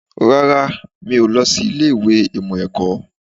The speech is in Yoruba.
Rárá, mi ò lọ sí ilé ìwé ìmọ̀ ẹ̀kọ́